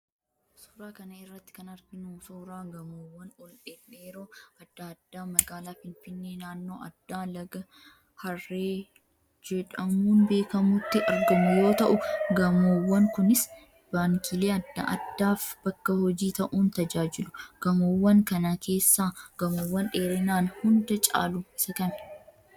Suuraa kana irratti kan arginu suuraa gamoowwan ol dhedheeroo adda addaa magaalaa Finfinnee naannoo addaa Laga Harree jedhamuun beekamutti argamu yoo ta'u, gamoowwan kunis baankiilee adda addaaf bakka hojii ta'uun tajaajilu. Gamoowwan kana keessaa gamoowwan dheerinaan hunda caalu isa kami?